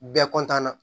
Bɛɛ na